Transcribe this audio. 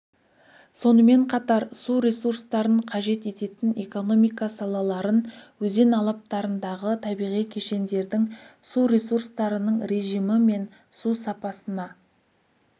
сонымен қатар су ресурстарын қажет ететін экономика салаларын өзен алаптарындағы табиғи кешендердің су ресурстарының режимі мен су сапасына